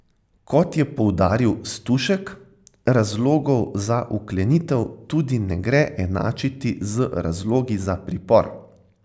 Kot je poudaril Stušek, razlogov za vklenitev tudi ne gre enačiti z razlogi za pripor.